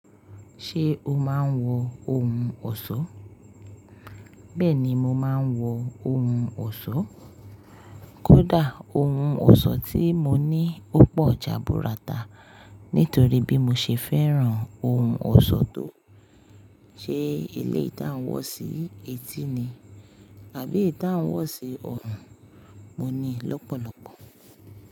Ṣé o máa ń wọ ohun ọ̀ṣọ́? Bẹ́ẹ̀ni mo máa ń wọ ohun ọ̀ṣọ́. Kódà ohun ọ̀ṣọ́ tí mo ní ó pọ̀ jà búra tá. Nítorí bí mo ṣe fẹ́ràn ohun ọ̀ṣọ́ tó ṣe eléyìí tá ń wọ̀ sí etí ni àbí eyi ta n wọ̀ sí ọrùn mo ní lọ́pọ̀lọ́pọ̀.